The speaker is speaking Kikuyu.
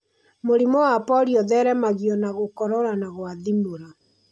Mũrimũ wa polio ũtheremagio na gũkorora na gwathimũra.